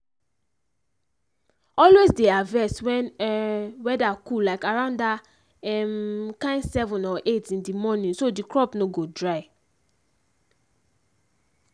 always dey harvest when um weather cool like around that um kain seven or eight in the morning so the crop no go dry.